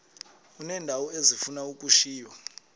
uneendawo ezifuna ukushiywa